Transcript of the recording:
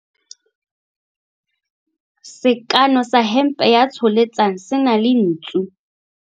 Sekano sa hempe ya Tsholetsang se na le ntsu.